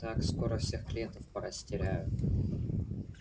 так скоро всех клиентов порастеряю